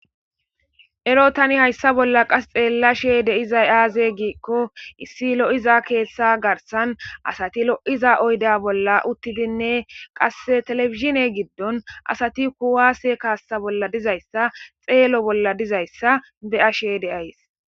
Ero tani hayssa bolla qas xeella she de'izay aaze giikko issi lo7iza keessa garsan asati lo'iza oyda bolla uttidinne qasse televezhishine giddon asati kuwaase kaassa bolla dizayssa xeelo bolla dizayssa be'ashe deays.